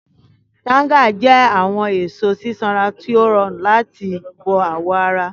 Tanga jẹ awọn eso sisanra ti o rọrun lati bó awọ ara.